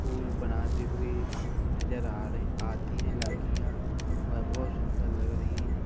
फूल बनाते हुए नज़र आ रही आती है लड़कियां वह बहुत सुन्‍दर लग रही हैं ।